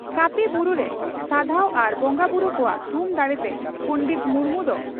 ᱠᱟᱹᱯᱤ ᱵᱩᱨᱩᱨᱮ ᱥᱟᱫᱷᱟᱣ ᱟᱨ ᱵᱚᱸᱜᱟ ᱵᱩᱨᱩ ᱠᱚᱣᱟᱜ ᱛᱷᱩᱢ ᱫᱟᱲᱮᱛᱮ ᱯᱚᱸᱰᱮᱛ ᱢᱩᱨᱢᱩ ᱫᱚ